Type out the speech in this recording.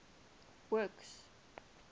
works